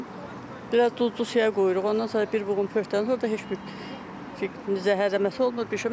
Onu biraz duzlu suya qoyuruq, ondan sonra bir buğum pörtürük, ondan sonra heç bir zəhərlənməsi olmur.